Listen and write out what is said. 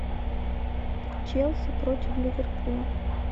челси против ливерпуля